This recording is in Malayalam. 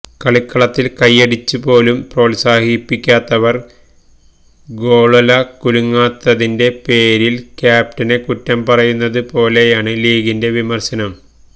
കളിക്കളത്തില് കയ്യടിച്ച് പോലും പ്രോത്സാഹിപ്പിക്കാത്തവര് ഗോള്വല കുലുങ്ങാത്തതിന്റെ പേരില് ക്യാപ്റ്റനെ കുറ്റം പറയുന്നത്പോലെയാണ് ലീഗിന്റെ വിമര്ശനം